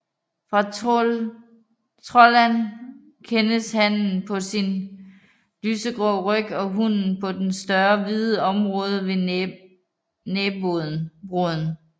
Fra troldand kendes hannen på sin lysegrå ryg og hunnen på det større hvide område ved næbroden